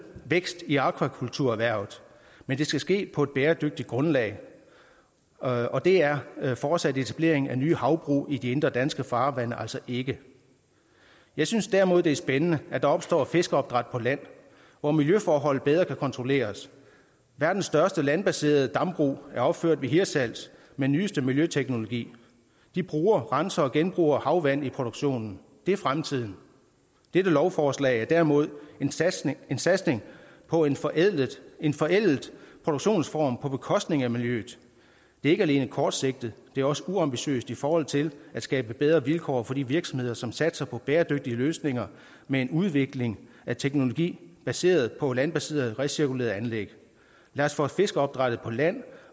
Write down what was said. vækst i akvakulturerhvervet men det skal ske på et bæredygtigt grundlag og det er er fortsat etablering af nye havbrug i de indre danske farvande altså ikke jeg synes derimod det er spændende at der opstår fiskeopdræt på land hvor miljøforhold bedre kan kontrolleres verdens største landbaserede dambrug er opført ved hirtshals med nyeste miljøteknologi de bruger renser og genbruger havvand i produktionen det er fremtiden dette lovforslag er derimod en satsning en satsning på en forældet en forældet produktionsform på bekostning af miljøet det er ikke alene kortsigtet det er også uambitiøst i forhold til at skabe bedre vilkår for de virksomheder som satser på bæredygtige løsninger med en udvikling af teknologi baseret på landbaserede recirkulerede anlæg lad os få fiskeopdrættet på land